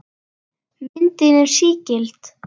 Myndin er sígild.